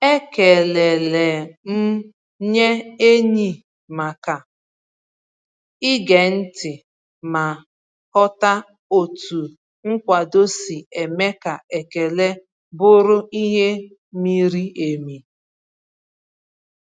Ekelele m nye enyi maka ige ntị ma ghọta otu nkwado si eme ka ekele bụrụ ihe miri emi.